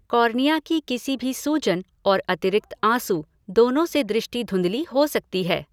Cornea की किसी भी सूजन और अतिरिक्त आँसू, दोनों से दृष्टि धुंधली हो सकती है।